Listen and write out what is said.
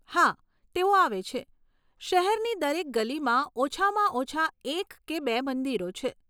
હા, તેઓ આવે છે. શહેરની દરેક ગલીમાં ઓછામાં ઓછા એક કે બે મંદિરો છે.